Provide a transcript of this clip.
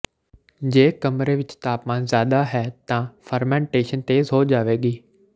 ਜੇ ਕਮਰੇ ਵਿਚ ਤਾਪਮਾਨ ਜ਼ਿਆਦਾ ਹੈ ਤਾਂ ਫਰਮਾਨਟੇਸ਼ਨ ਤੇਜ਼ ਹੋ ਜਾਵੇਗੀ